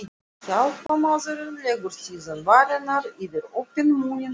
Hjálparmaðurinn legur síðan varirnar yfir opinn munninn og blæs.